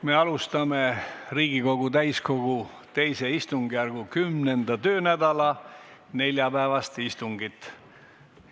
Me alustame Riigikogu täiskogu II istungjärgu 10. töönädala neljapäevast istungit.